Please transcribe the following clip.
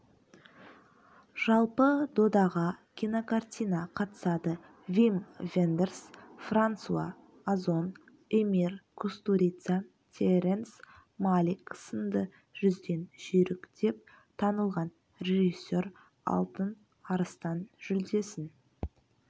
жалпы додаға кинокартина қатысады вим вендерс франсуа озон эмир кустурица терренс малик сынды жүзден жүйрік деп танылған режиссер алтын арыстан жүлдесін